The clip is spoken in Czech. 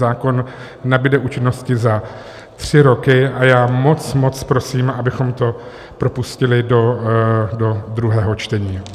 Zákon nabude účinnosti za tři roky a já moc, moc prosím, abychom to propustili do druhého čtení.